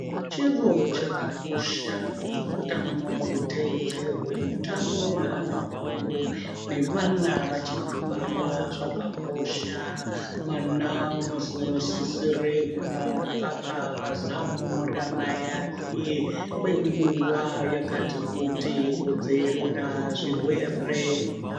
Chiro chakakosha kuti utano huteedzerwe, utano hweanhu akuru nevana vachiri kubarwa zvakakosha mwana unozi unosisire kumwa mukaka pazamu ramai ake kwenguwa yakati kuti kudziirira zvirwere.